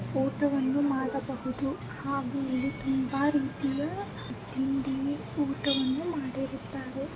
ಊಟವನ್ನು ಮಾಡಬಹುದು ಹಾಗೂ ಇಲ್ಲಿ ತುಂಬಾ ರೀತಿಯ ತಿಂಡಿ ಊಟವನ್ನು ಮಾಡಿರುತ್ತಾರೆ.